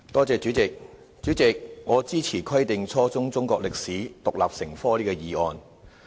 主席，我支持"規定初中中國歷史獨立成科"這項議案。